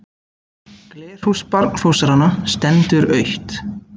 Glerhús barnfóstranna stendur autt.